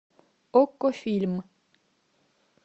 окко фильм